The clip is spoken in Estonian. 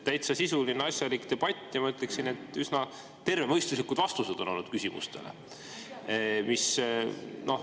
Täitsa sisuline asjalik debatt ja ma ütleksin, et üsna tervemõistuslikud vastused on olnud küsimustele.